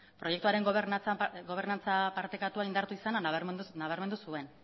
proiektuaren gobernantza partekatua indartu izana nabarmendu zuen